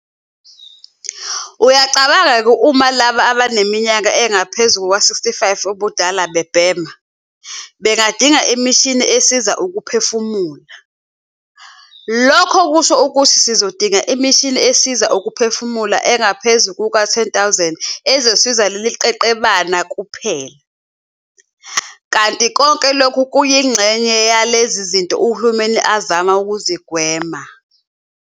Uyacabanga-ke uma labo abaneminyaka engaphezulu kwama-65 ubudala bebhema, bengadinga imishini esiza ukuphefumula. Lokho kusho ukuthi sizodinga imishini esiza ukuphefumula engaphezu kwezi-10 000 ezosiza lelo qeqebana kuphela. Kanti konke lokhu kuyingxenye yalezi zinto uhulumeni azama ukuzigwema.